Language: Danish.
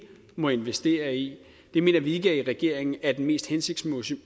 må investere i i mener vi i regeringen ikke er den mest hensigtsmæssige